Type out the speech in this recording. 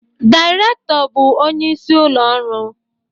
Dairekto bụ onye isi ulo ọrụ